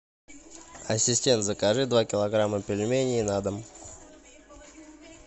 ассистент закажи два килограмма пельменей на дом